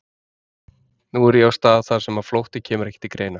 Nú er ég á stað þar sem flótti kemur ekki til greina.